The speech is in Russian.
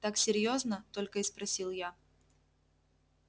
так серьёзно только и спросил я